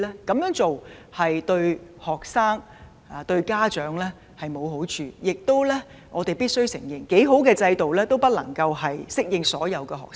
這樣做對學生及家長均沒有好處，而且我們必須承認，更好的制度也不能適用於所有學生。